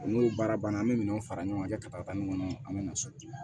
N'o baara banna an bɛ minɛn fara ɲɔgɔn kan ka taa nin kɔnɔ an bɛ na so